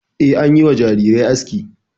E, an yi wa jarirai aski.